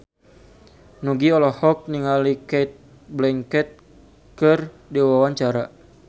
Nugie olohok ningali Cate Blanchett keur diwawancara